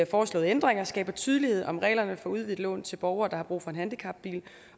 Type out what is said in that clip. foreslåede ændringer skaber tydelighed om reglerne for udvidet lån til borgere der har brug for en handicapbil